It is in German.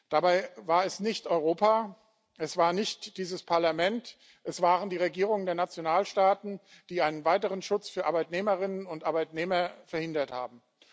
Dabei war es nicht Europa, es war nicht dieses Parlament, es waren die Regierungen der Nationalstaaten, die einen weiteren Schutz für Arbeitnehmerinnen und Arbeitnehmer verhindert haben.